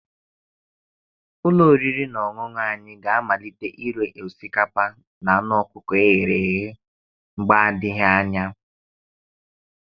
Ụlọ oriri na ọṅụṅụ anyị ga-amalite ire osikapa na anụ ọkụkọ e ghere eghe mgbe adịghị anya.